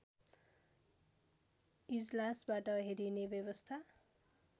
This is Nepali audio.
इजलासबाट हेरिने व्यवस्था